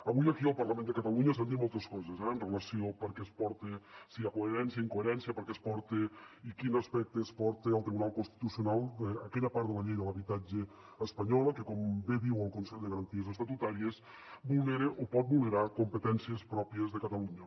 avui aquí al parlament de catalunya s’han dit moltes coses eh amb relació a per què es porta si hi ha coherència incoherència per què es porta i quin aspecte es porta al tribunal constitucional d’aquella part de la llei de l’habitatge espanyola que com bé diu el consell de garanties estatutàries vulnera o pot vulnerar competències pròpies de catalunya